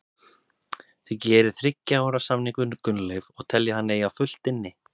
Þið gerið þriggja ára samning við Gunnleif og teljið hann eiga fullt inni?